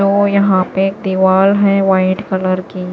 तो यहां पे दीवार हैवाइट कलर की--